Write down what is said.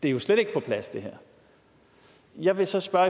er jo slet ikke på plads jeg vil så spørge